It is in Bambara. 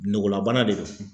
Nogola bana de don.